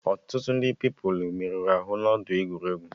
Ọtụtụ ndị Pupilụ merụrụ arụ n'ọdọ egwuregwu